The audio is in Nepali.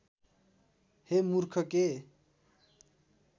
हे मूर्ख के